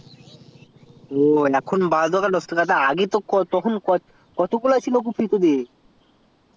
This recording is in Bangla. ও এখন তো দশ টাকা বারো টাকা নিচ্ছে তো আগেই কতগুলো কফি ছিল তখন তোদের